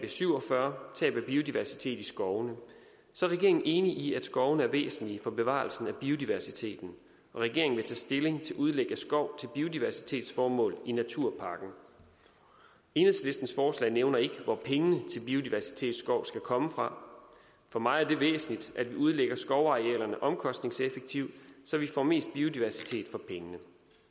syv og fyrre tab af biodiversitet i skovene regeringen er enig i at skovene er væsentlige for bevarelsen af biodiversiteten og regeringen vil tage stilling til udlæg af skov til biodiversitetsformål i naturpakken enhedslistens forslag nævner ikke hvor pengene til biodiversitetsskov skal komme fra for mig er det væsentligt at vi udlægger skovarealerne omkostningseffektivt så vi får mest biodiversitet for pengene